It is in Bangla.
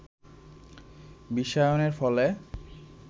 বিশ্বায়নের ফলে